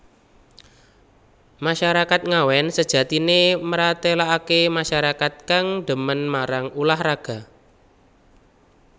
Masyarakat Ngawen sejatine mratelakake masyarakat kang dhemen marang ulah raga